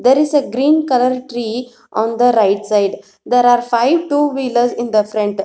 there is a green colour tree on the right side there are five two wheelers in the front.